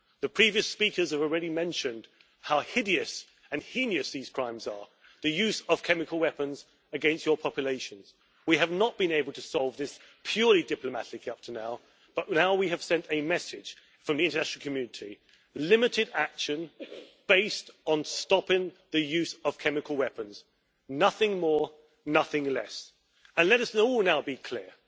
The previous speakers have already mentioned how hideous and heinous these crimes are the use of chemical weapons against your population. We have not been able to solve this purely diplomatically up to now, but now we have sent a message from the international community limited action based on stopping the use of chemical weapons. Nothing more, nothing less. And let's all be clear.